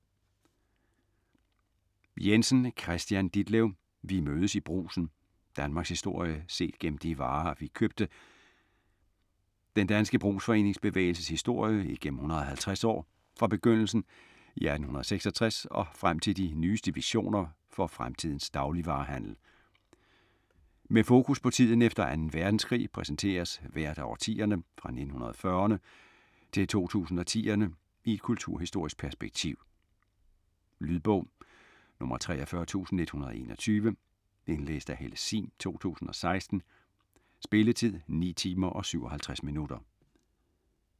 Jensen, Kristian Ditlev: Vi mødes i Brugsen: danmarkshistorie set gennem de varer, vi købte Den danske brugsforeningsbevægelses historie igennem 150 år fra begyndelsen i 1866 og frem til de nyeste visioner for fremtidens dagligvarehandel. Med fokus på tiden efter 2. verdenskrig præsenteres hvert af årtiderne fra 1940'erne til 2010'erne i et kulturhistorisk perspektiv. Lydbog 43121 Indlæst af Helle Sihm, 2016. Spilletid: 9 timer, 57 minutter.